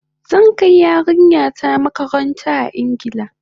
Zan kai yarinya ta makaranta a Ingila